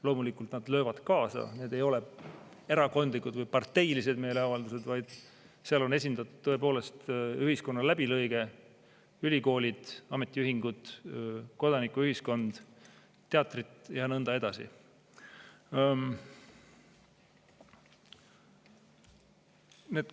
Loomulikult nad löövad kaasa, aga need ei ole erakondlikud, parteilised meeleavaldused, vaid seal on esindatud tõepoolest ühiskonna läbilõige: ülikoolid, ametiühingud, kodanikuühiskond, teatrid ja nõnda edasi.